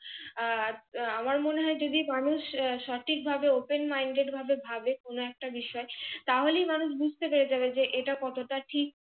আর আমার মনে হয় যদি মানুষ সঠিক ভাবে OPENMINDED ভাবে ভাবে কোনো একটা বিষয় তাহলে মানুষ বুঝতে পেরে যাবে যে এটা কতটা ঠিক।